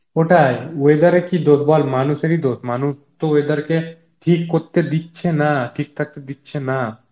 ওটাই বেথের এর কি দোস বল মানুষের ই দোস, মানুষ তো weather কে, ঠিক করতে দিচ্ছে না, ঠিক থাকতে দিচ্ছে না